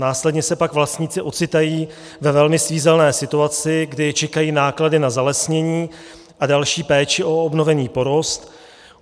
Následně se pak vlastníci ocitají ve velmi svízelné situaci, kdy je čekají náklady na zalesnění a další péči o obnovený porost.